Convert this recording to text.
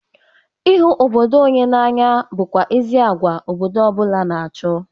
Ịhụ obodo onye na-anya bụkwa ezi agwa obodo ọ bụla na-achọ.